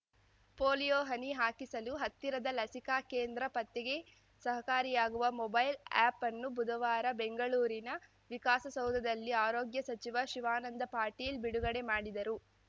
polio ಹನಿ ಹಾಕಿಸಲು ಹತ್ತಿರದ ಲಸಿಕಾ ಕೇಂದ್ರ ಪತ್ತೆಗೆ ಸಹಕಾರಿಯಾಗುವ ಮೊಬೈಲ್‌ ಆ್ಯಪ್‌ನ್ನು ಬುಧವಾರ ಬೆಂಗಳೂರಿನ ವಿಕಾಸಸೌಧದಲ್ಲಿ ಆರೋಗ್ಯ ಸಚಿವ ಶಿವಾನಂದ ಪಾಟೀಲ್‌ ಬಿಡುಗಡೆ ಮಾಡಿದರು